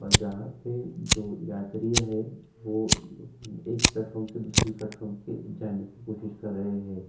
जहाँ पे जो यात्रियाँ है वो एक प्लेटफॉर्म से दूसरी प्लेटफॉर्म की जाने की कोशिश कर रहे हैं।